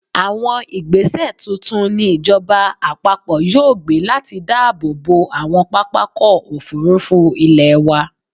Àwọn ìgbẹ́sẹ̀ tuntun ni ìjọba-àpapọ̀ yóò gbé láti dáàbò bo àwọn pápákọ̀-òfurufú ilẹ̀ wa.